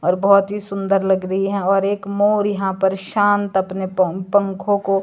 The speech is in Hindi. और बहोत ही सुंदर लग रही है और एक मोर यहां पर शांत अपने पं पंखों को--